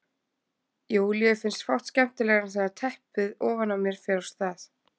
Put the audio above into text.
Júlíu finnst fátt skemmtilegra en þegar teppið ofan á mér fer af stað.